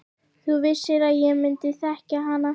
Þú vissir að ég myndi þekkja hana.